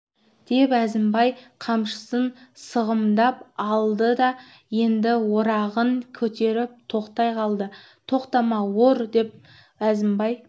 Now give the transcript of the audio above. деп әзімбай қамшысын сығымдап алды ол енді орағын көтеріп тоқтай қалды тоқтама ор деп әзімбай